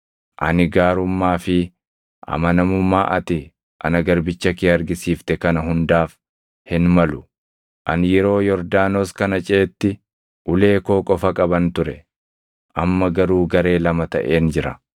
ani gaarummaa fi amanamummaa ati ana garbicha kee argisiifte kana hundaaf hin malu. Ani yeroo Yordaanos kana ceʼetti ulee koo qofa qaban ture; amma garuu garee lama taʼeen jira.